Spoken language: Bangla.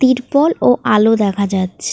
তিরপল ও আলো দেখা যাচ্ছে।